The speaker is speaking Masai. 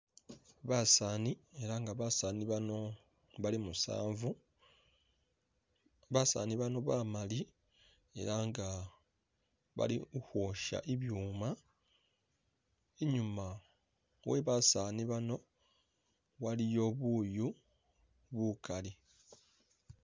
Basaani ela nga basaani bano Bali musanvu Basaani bano bamaali ela nga bali ukhosha inbwuma ,inyuma we basaani bano waliyo buyu bukaali.